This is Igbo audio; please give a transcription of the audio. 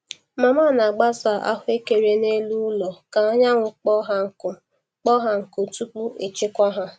Mama na-agbasa ahụekere n’elu ụlọ ka anyanwụ kpoo ha nkụ kpoo ha nkụ tupu echekwa ha.